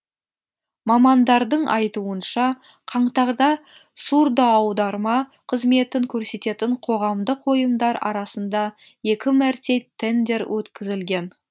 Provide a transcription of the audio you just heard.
мамандардың айтуынша қаңтарда сурдоаударма қызметін көрсететін қоғамдық ұйымдар арасында екі мәрте тендер өткізілген